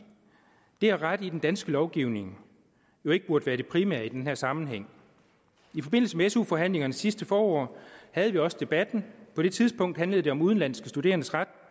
det at rette i den danske lovgivning jo ikke burde være det primære i den her sammenhæng i forbindelse med su forhandlingerne sidste forår havde vi også debatten på det tidspunkt handlede det om udenlandske studerendes ret